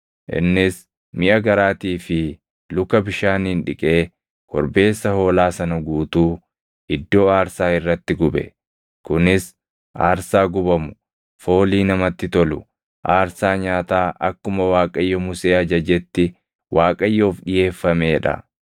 Innis miʼa garaatii fi luka bishaaniin dhiqee korbeessa hoolaa sana guutuu iddoo aarsaa irratti gube. Kunis aarsaa gubamu, foolii namatti tolu, aarsaa nyaataa akkuma Waaqayyo Musee ajajetti Waaqayyoof dhiʼeeffamee dha.